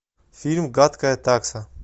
фильм гадкая такса